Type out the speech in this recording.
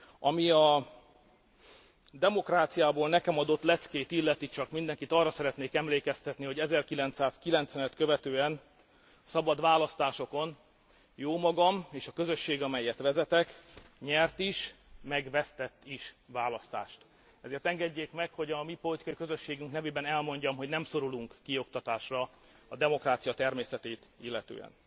Ami a demokráciából nekem adott leckét illeti, csak mindenkit arra szeretnék emlékeztetni, hogy 1990 et követően szabad választásokon jómagam és a közösség, amelyet vezetek nyert is, meg vesztett is választást, ezért engedjék meg, hogy a mi politikai közösségünk nevében elmondjam, hogy nem szorulunk kioktatásra a demokrácia természetét illetően.